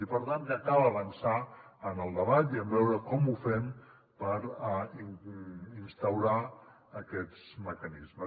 i per tant que cal avançar en el debat i en veure com ho fem per instaurar aquests mecanismes